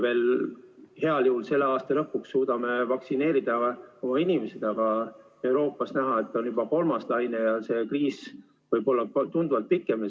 Heal juhul selle aasta lõpuks suudame me ära vaktsineerida oma inimesed, aga Euroopas on näha, et käimas on juba kolmas laine ja see kriis võib olla tunduvalt pikem.